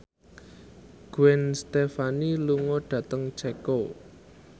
Gwen Stefani lunga dhateng Ceko